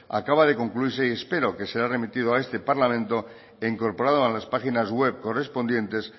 acaba de concluirse y espero que será remitido a este parlamento e incorporado a las páginas web correspondientes